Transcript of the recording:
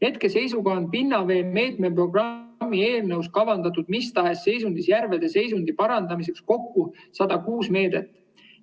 Hetkeseisuga on pinnavee meetmeprogrammi eelnõus kavandatud mis tahes seisundis järvede seisundi parandamiseks kokku 106 meedet.